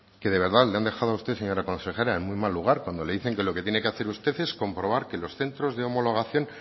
que y de verdad le han dejado a usted señora consejera en muy mal lugar cuando le dicen que lo que tiene que hacer usted es comprobar que los centros de homologación